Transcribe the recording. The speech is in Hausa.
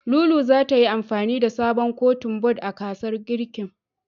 Lulu zata yi amfani da sabon Kotun bod a gasar girkin.